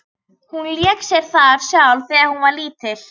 Hún lék sér þar sjálf þegar hún var lítil.